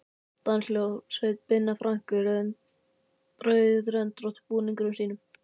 Danshljómsveit Binna Frank í rauðröndóttu búningunum sínum.